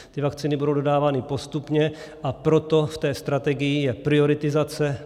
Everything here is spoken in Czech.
Ty vakcíny budou dodávány postupně, a proto v té strategii je prioritizace.